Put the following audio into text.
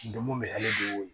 Donmo be hami de koyi